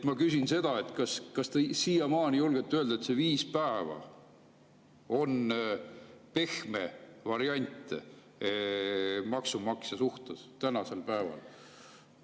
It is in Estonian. Ma küsin: kas te siiamaani julgete öelda, et see viis päeva on pehme variant maksumaksja suhtes tänasel päeval?